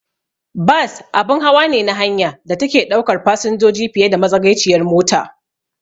Bas abun hawa ne na hanya da take ɗaukar fasinjoji fiye da matsagaiciyar mota.